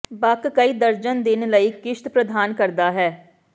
ਬਕ ਕਈ ਦਰਜਨ ਦਿਨ ਲਈ ਿਕਸ਼ਤ ਪ੍ਰਦਾਨ ਕਰਦਾ ਹੈ